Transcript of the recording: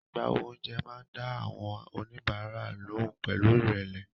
Agbáwo oúnjẹ máa dá àwọn oníbàárà lóhùn pẹ̀lú ìrẹ̀lẹ̀.